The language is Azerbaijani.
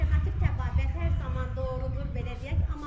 Alternativ təbabət hər zaman doğrudur, belə deyək.